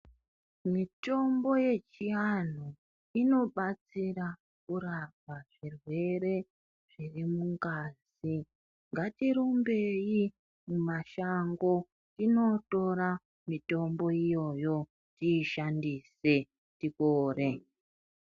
Mitombo yechianhu inobatsira kurapa zvirwere zvirimungazi medu. Ngatirumbeyi mumashango tinotora mitombo iyoyo , tiyishandise tipore.